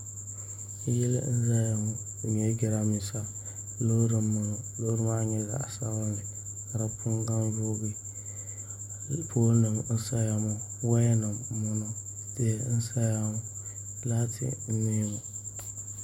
Yili n ʒɛya ŋo di nyɛla jiranbiisa loori n boŋo loori maa nyɛla zaɣ sabinli ka di puni gaŋ yoogi pool nim n saya ŋo woya nim n boŋo tihi n saya ŋo laati n niɛ ŋo